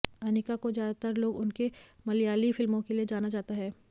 अनिका को ज्यादातर लोग उनके मलयाली फिल्मों के लिए जाना जाता है